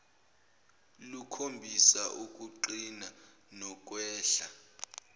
lukhombisa ukuqina nokwehla